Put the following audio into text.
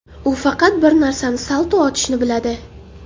U faqat bir narsani salto otishni biladi.